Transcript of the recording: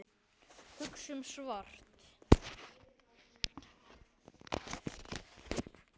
Hugsum svart.